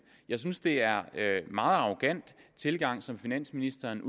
jeg synes det er en meget arrogant tilgang som finansministeren